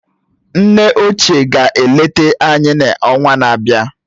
Nne óchiè ga-eleta anyị n’ọnwa na-abịa